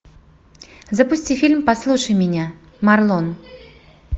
запусти фильм послушай меня марлон